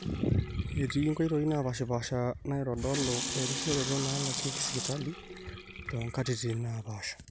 etii nkoitoi naapaashipaasha naaitodolu erisioroto nalakieki sipitali toomkatitin naapaasha